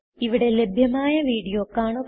ഇവിടെ ലഭ്യമായ വീഡിയോ കാണുക